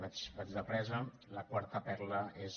vaig de pressa la quarta perla és